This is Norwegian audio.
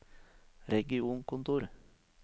regionkontor